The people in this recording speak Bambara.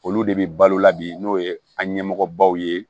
Olu de bi balo la bi n'o ye an ɲɛmɔgɔ baw ye